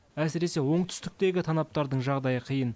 әсіресе оңтүстіктегі танаптардың жағдайы қиын